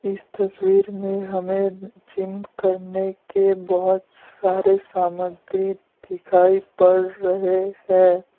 इस तस्वीर में हमें जिम करने के बहुत सारे सामग्री दिखाई पड़ रहे हैं।